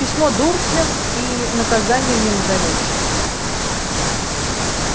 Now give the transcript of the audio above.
письмо дурслям и наказанием не назовёшь